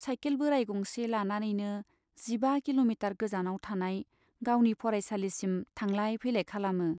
Cycle बोराइ गंसे लानानैनो जिबा किल'मिटार गोजानाव थानाय गावनि फरायसालिसिम थांलाय फैलाय खालामो।